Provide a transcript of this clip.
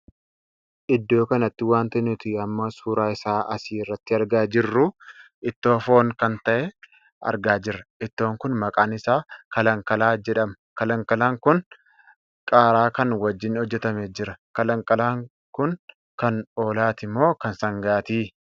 Iddoo kanatti wanti nuti amma suuraa isaa asi irratti argaa jirru ittoo foon kan tahe argaa jirra. ittoon kun maqaan isaa kalankalaa jedhama. Kalankalaan kun qaaraa kan wajjin hojjetamee jira. Kalankalaan kun kan hoolaati moo kan sangaati?